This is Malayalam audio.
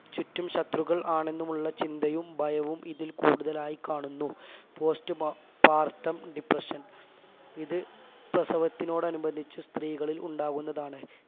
ചുറ്റും ശത്രുക്കൾ ആണെന്നുമുള്ള ചിന്തയും ഭയവും ഇതിൽ കൂടുതലായി കാണുന്നു post pa partum depression ഇത് പ്രസവത്തിനോടനുബന്ധിച് സ്ത്രീകളിൽ ഉണ്ടാകുന്നതാണ്